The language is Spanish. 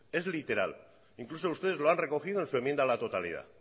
es literal e incluso ustedes lo han recogido en su enmienda a la totalidad